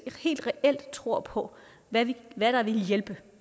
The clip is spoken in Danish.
reelt tror på hvad der ville hjælpe